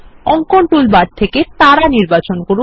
অঙ্কন টুলবার থেকে তারা নির্বাচন করুন